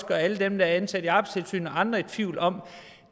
gør alle dem der er ansat i arbejdstilsynet og andre i tvivl om